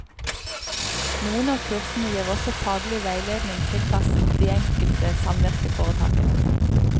Noen av kursene gir også faglig veiledning tilpasset de enkelte samvirkeforetakene.